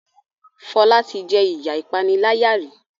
Fola tí jé iya ìpaniláyà rí